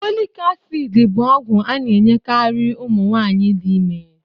Folic acid bu ogwu ana enyekari umunwaanyi di ime